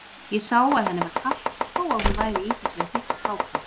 Ég sá að henni var kalt þó að hún væri í þessari þykku kápu.